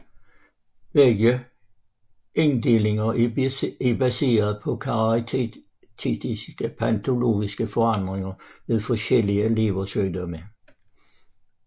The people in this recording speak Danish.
Begge inddelinger er baseret på karakteristiske patologiske forandringer ved forskellige leversygdomme